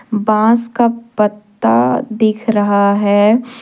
बांस का पत्ता दिख रहा है।